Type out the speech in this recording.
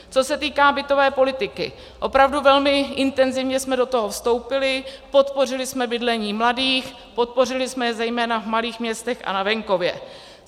Co se týká bytové politiky, opravdu velmi intenzivně jsme do toho vstoupili, podpořili jsme bydlení mladých, podpořili jsme je zejména v malých městech a na venkově.